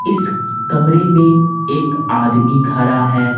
इस कमरे में एक आदमी खड़ा है।